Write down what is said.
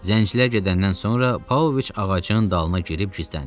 Zəncilər gedəndən sonra Pavloviç ağacın dalına girib gizləndi.